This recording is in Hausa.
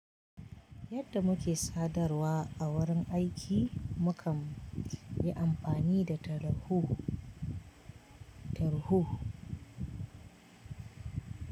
Yadda muke sadarwa a wurin aiki, mu kam yi amfani da tarho, tarho.